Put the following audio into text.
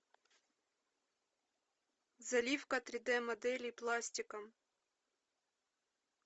заливка три д моделей пластиком